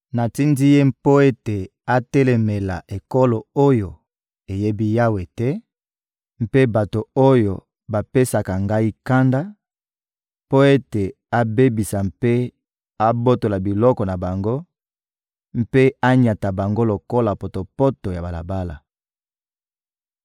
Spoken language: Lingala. Natindi ye mpo ete atelemela ekolo oyo eyebi Yawe te mpe bato oyo bapesaka Ngai kanda, mpo ete abebisa mpe abotola biloko na bango mpe anyata bango lokola potopoto ya balabala.